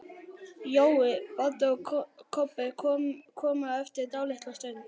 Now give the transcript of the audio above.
Jói, Baddi og Kobbi komu eftir dálitla stund.